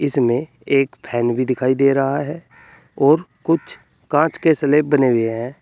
इसमे एक फैंन भी दिखाई दे रहा है और कुछ कांच के स्लैब बने हुए हैं।